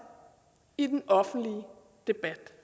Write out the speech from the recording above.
i den offentlige debat